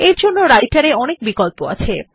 এরজন্য রাইটের এ অনেক বিকল্প আছে